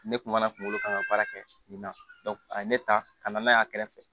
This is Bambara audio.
Ne kun mana kunkolo kan ka baara kɛ nin na a ye ne ta ka na n'a y'a kɛrɛfɛ